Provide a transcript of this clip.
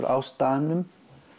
á staðnum